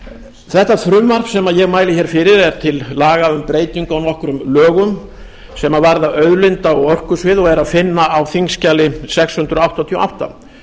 þetta frumvarp sem ég mæli hér fyrir er til laga um breytingu á nokkrum lögum sem varða auðlinda og orkusvið og er að finna á þingskjali númer sex hundruð áttatíu og átta